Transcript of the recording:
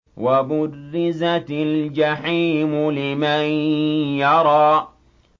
وَبُرِّزَتِ الْجَحِيمُ لِمَن يَرَىٰ